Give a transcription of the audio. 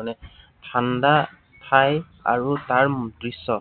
মানে, ঠাণ্ডা ঠাই আৰু তাৰ দৃশ্য।